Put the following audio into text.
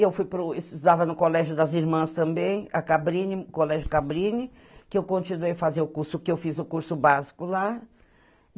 Eu fui para o, estudava no Colégio das Irmãs também, a Cabrini, Colégio Cabrini, que eu continuei a fazer o curso, que eu fiz o curso básico lá.